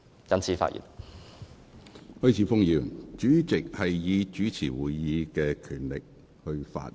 許智峯議員，主席是依照其主持會議的權力發言。